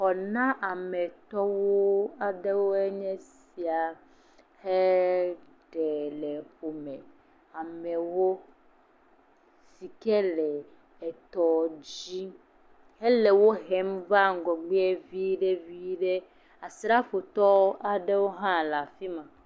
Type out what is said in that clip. Xɔnametɔwo aɖewo nye esia he ɖe le ƒome, amewo si ke le etɔ dzi hele wo hem va ŋgɔgbe viɖe viɖe, asrafotɔwo aɖewo hã le afi ma.